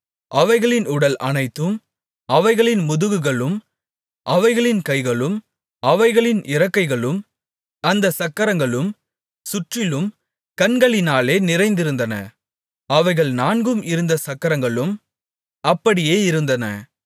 அவைகளின் உடல் அனைத்தும் அவைகளின் முதுகுகளும் அவைகளின் கைகளும் அவைகளின் இறக்கைகளும் அந்தச் சக்கரங்களும் சுற்றிலும் கண்களினாலே நிறைந்திருந்தன அவைகள் நான்கும் இருந்த சக்கரங்களும் அப்படியே இருந்தன